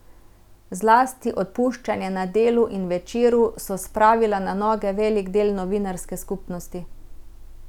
Zlasti odpuščanja na Delu in Večeru so spravila na noge velik del novinarske skupnosti.